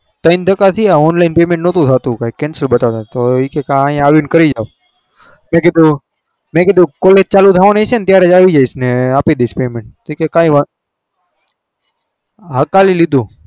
ત્રણ ધકકા થયા online payment નતુ થતું કંઈક cancel બતાવતા હતા તો એ કહે કે અહી આવીને કરી જાઓ મેં કીધું મેં કીધું college ચાલુ થવાની હશેને ત્યારે જ આવી જઈશને આપી દઈશ payment તો કહે કે કઈ વાં ચલાવી લીધું.